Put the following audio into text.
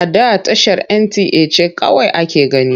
A da tashar NTA ce kawai ake gani.